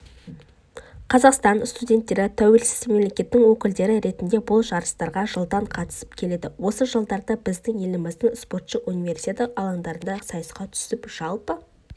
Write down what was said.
қазақстан студенттері тәуелсіз мемлекеттің өкілдері ретінде бұл жарыстарға жылдан қатысып келеді осы жылдарда біздің елімізден спортшы универсиада алаңдарында сайысқа түсіп жалпы